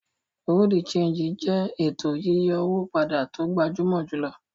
Bureau-de-Chanjí jẹ ètò yíyí owó pàdà tó gbàjúmọ̀ júlọ̀.